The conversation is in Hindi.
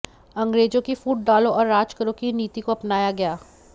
अंग्रेजों की फूट डालो और राज करो की नीति को अपनाया गया